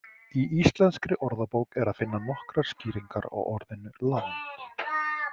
Í Íslenskri orðabók er að finna nokkrar skýringar á orðinu land.